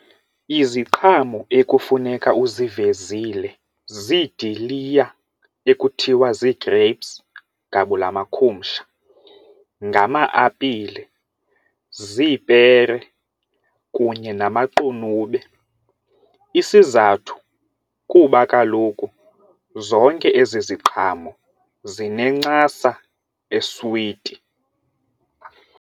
Iziqhamo ekufuneka uzivezile ziidiliya ekuthiwa zii-grapes gabula makhumsha, ngama-apile, ziipere kunye namaqunube isizathu kuba kaloku zonke ezi ziqhamo zinencasa eswiti.